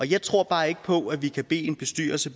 jeg tror bare ikke på at vi kan bede en bestyrelse